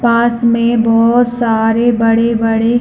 पास में बहोत सारे बड़े-बड़े--